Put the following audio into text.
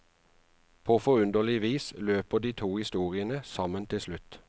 På forunderlig vis løper de to historiene sammen til slutt.